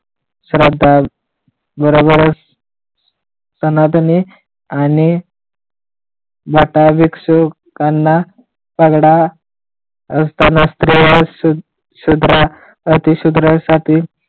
श्रद्धा बरोबरच सनातनी आणि मटा भिक्षुकांना पगडा असताना स्त्रिया शूद्र अति शुद्रासाठी